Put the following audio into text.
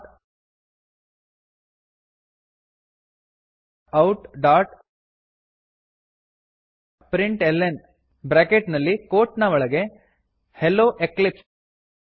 systemoutಪ್ರಿಂಟ್ಲ್ನ bracket ನಲ್ಲಿ quote ನ ಒಳಗೆ ಹೆಲ್ಲೊ ಎಕ್ಲಿಪ್ಸ್